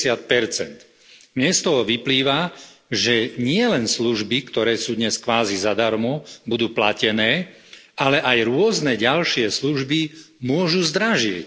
50 Mne z toho vyplýva, že nielen služby, ktoré sú dnes kvázi zadarmo, budú platené, ale aj rôzne ďalšie služby môžu zdražieť.